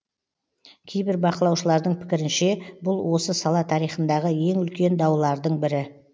кейбір бақылаушылардың пікірінше бұл осы сала тарихындағы ең үлкен даулардың бірі